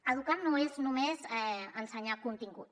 educar no és només ensenyar contingut